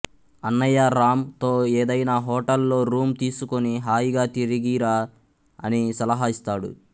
అన్నయ్య రామ్ తో ఏదైనా హోటల్ లో రూం తీసుకుని హాయిగా తిరిగిరా అని సలహా ఇస్తాడు